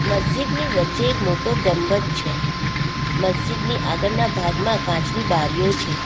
મસ્જિદની વચ્ચે એક મોટો ગમબજ છે મસ્જિદની આગળના ભાગમાં કાચની બારીઓ છે.